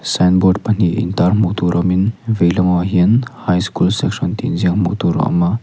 sign board pahnih in tar hmuh tur awmin vei lamah hian high school section tih inziak hmuh tur a awm a.